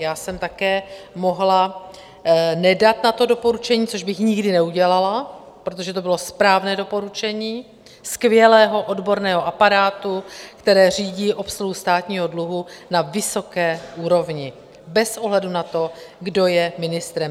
Já jsem také mohla nedat na to doporučení, což bych nikdy neudělala, protože to bylo správné doporučení skvělého odborného aparátu, který řídí obsluhu státního dluhu na vysoké úrovni bez ohledu na to, kdo je ministrem.